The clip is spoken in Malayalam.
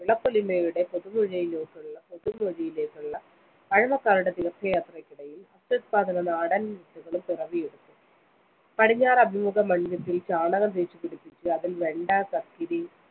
വിളപ്പൊലിമയുടെ പുതുമൊഴിയിലേക്കുള്ള പഴമക്കാരുടെ തീര്‍ത്ഥയാത്രയ്ക്കിടയില്‍ അത്യുത്പാദന നാടന്‍ വിത്തുകളും പിറവി എടുത്തു. പടിഞ്ഞാറ് അഭിമുഖ മണ്‍ഭിത്തിയില്‍ ചാണകം തേച്ചുപിടിപ്പിച്ച് അതില്‍ വെണ്ട, കക്കിരി,